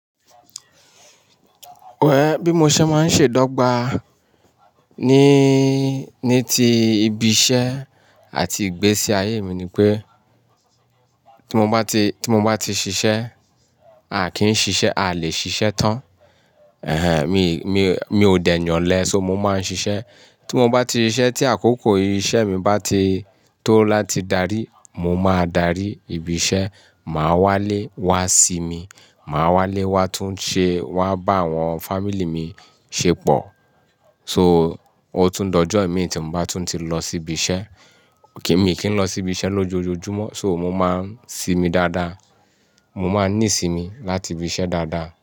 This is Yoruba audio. Wẹ̀, bí mo ṣe máa ń ṣe dọ́gba ní, ní ti ibi iṣẹ́ àti ìgbésí ayé mi ni pé tí mo bá ti, tí mo bá ti ṣiṣẹ́, a kì í ṣiṣẹ́, a lè ṣiṣẹ́ tán. Ẹ̀hẹn, mi, mi, mi ò dẹ̀yàn lẹ́, so mo máa ń ṣiṣẹ́. Tí mo bá ti ṣiṣẹ́ tí àkókò iṣẹ́ mi bá ti tó láti darí, mo máa darí ibi iṣẹ́, màá wá lé, wá si mi, màá wá lé, wá tún ṣe, wá bá àwọn family mi ṣépọ̀. So, ó tún dọjọ́ ímì tí n bá tún ti lọ sí ibi iṣẹ́. Mi ki n lọ sí ibi iṣẹ́ lójoojúmọ́, so mo máa ń sinmi dáadáa. Mo máa ń níì sinmi láti ibi iṣẹ́ dáadáa.